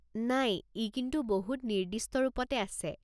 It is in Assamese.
নাই, ই কিন্তু বহুত নিৰ্দিষ্ট ৰূপতে আছে।